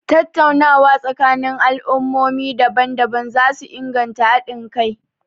Tattaunawa tsakanin al'ummomi daban-daban za su inganta hadin kai.a